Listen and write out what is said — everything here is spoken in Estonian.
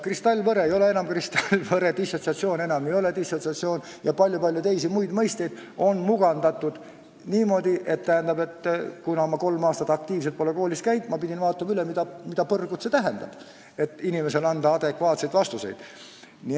Kristallvõre ei ole enam kristallvõre, dissotsiatsioon ei ole enam dissotsiatsioon ja palju-palju teisi mõisteid on mugandatud niimoodi, et kuna ma pole kolm aastat aktiivselt koolis õpetanud, ma pidin vaatama üle, mida põrgut need kõik tähendavad, et õpilastele adekvaatseid vastuseid anda.